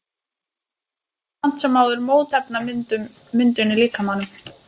Þau valda samt sem áður mótefnamyndun í líkamanum.